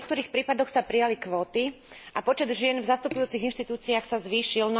V niektorých prípadoch sa prijali kvóty a počet žien v zastupujúcich inštitúciách sa zvýšil.